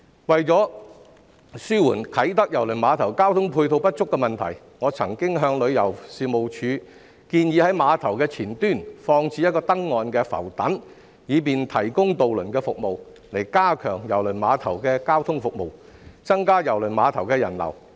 為紓緩啟德郵輪碼頭交通配套不足的問題，我曾經向旅遊事務署建議在碼頭前端放置一個登岸浮躉，以便提供渡輪服務，加強郵輪碼頭的交通服務，增加郵輪碼頭的人流。